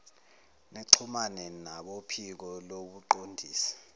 nixhumane nabophiko lobuqondisi